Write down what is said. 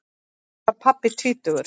Þá var pabbi tvítugur.